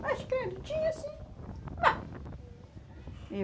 Mas credo, tinha sim. Mas, e o